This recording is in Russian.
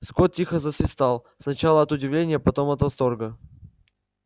скотт тихо засвистал сначала от удивления потом от восторга